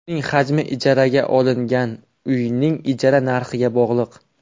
Uning hajmi ijaraga olingan uyning ijara narxiga bog‘liq.